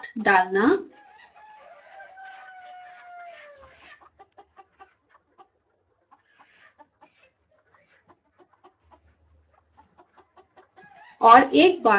driver path डालना